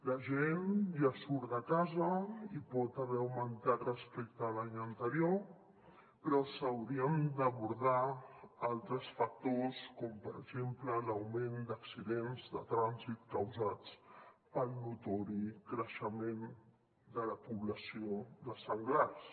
la gent ja surt de casa i pot haver augmentat respecte a l’any anterior però s’haurien d’abordar altres factors com per exemple l’augment d’accidents de trànsit causats pel notori creixement de la població de senglars